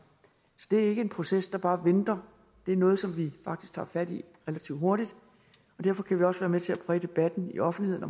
så det er ikke en proces der bare venter det er noget som vi faktisk tager fat i relativt hurtigt og derfor kan vi også være med til at præge debatten i offentligheden